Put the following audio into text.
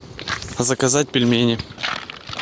заказать пельмени